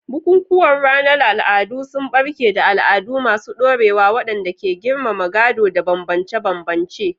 Bukukuwan ranar al'adu sun barke da al'adu masu ɗorewa waɗanda ke girmama gado da bambance-bambance.